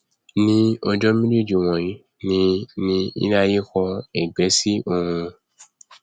ní ọjọ méjéèjì wọnyí ni ni iléaiyé kọ ẹgbẹ sí òòrùn